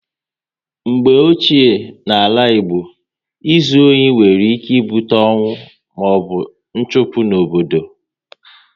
Mgbe ochie n'ala Igbo, ịzu ohi nwere ike ibute ọnwụ maọbụ nchụpụ n'obodo